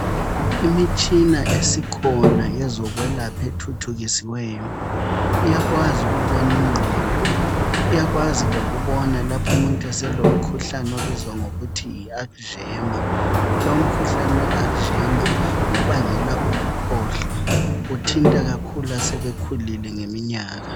Imitshina esikhona yozokwelapha ethuthukisiweyo iyakwazi ukubona ingqondo, iyakwazi lokubona lapho umuntu eselomkhuhlane obizwa ngokuthi yiAlkzeimer. Lomkhuhlane weAlkzeimer ngobangela ukukhohlwa uthinta kakhulu asebekhulile ngeminyaka.